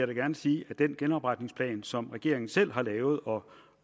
da gerne sige at den genopretningsplan som regeringen selv har lavet og